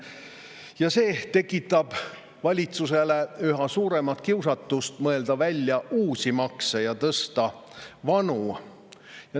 Ja see tekitab valitsuses üha suuremat kiusatust mõelda välja uusi makse ja tõsta vanu.